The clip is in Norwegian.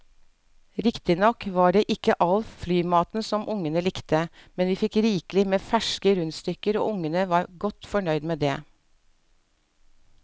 Riktignok var det ikke all flymaten som ungene likte, men vi fikk rikelig med ferske rundstykker og ungene var godt fornøyd med det.